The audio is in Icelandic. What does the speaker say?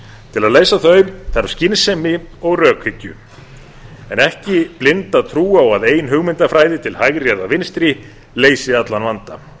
til að leysa þau þarf skynsemi og rökhyggju en ekki blinda trú á að ein hugmyndafræði til hægri eða vinstri leysi allan vanda